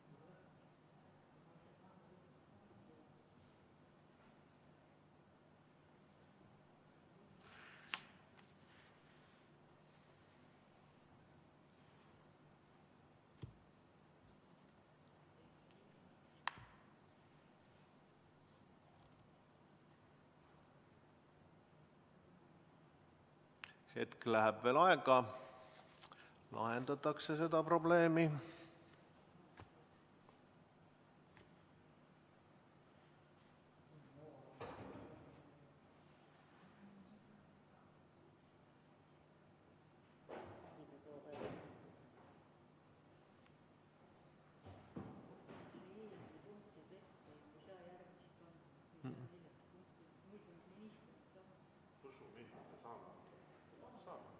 Hetk läheb veel aega, seda probleemi lahendatakse.